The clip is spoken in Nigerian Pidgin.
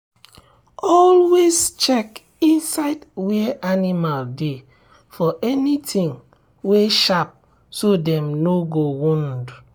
always check inside where animal dey for anything wey sharp so dem no go wound.